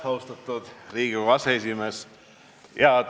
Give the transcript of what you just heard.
Austatud Riigikogu aseesimees!